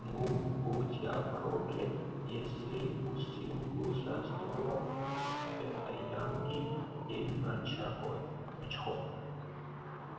но будь я проклят если усинку за столом с этой янки её мачехой